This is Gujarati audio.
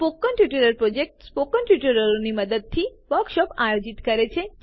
સ્પોકન ટ્યુટોરિયલ પ્રોજેક્ટ સ્પોકન ટ્યુટોરિયલોના મદદથી વર્કશોપો આયોજિત કરે છે